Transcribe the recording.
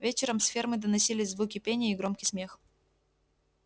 вечером с фермы доносились звуки пения и громкий смех